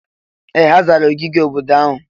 Ee! Ha zara ogige obodo ahụ.